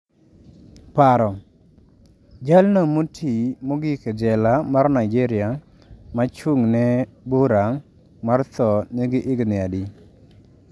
"Paro: Jalno moti mogik e jela mar Nigeria machung'ne bura mar tho nigi higni adi?"